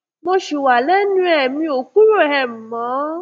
mo ṣì wà lẹnu ẹ̀ mi ò kúrò um mọ